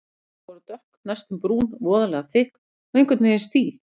Blöðin voru dökk, næstum brún, voðalega þykk og einhvern veginn stíf.